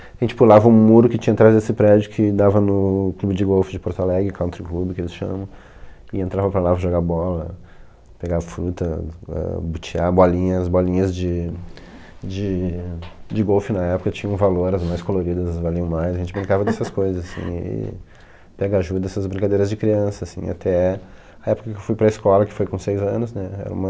A gente pulava um muro que tinha atrás desse prédio que dava no clube de golfe de Porto Alegre, Country Club, que eles chamam, e entrava para lá jogar bola, pegar fruta, botear bolinhas, bolinhas de de de golfe na época, tinham valor, as mais coloridas valiam mais, a gente brincava dessas coisas, assim, e pegar ajuda nessas brincadeiras de criança, assim, até a época que eu fui para a escola, que foi com seis anos, né, era uma...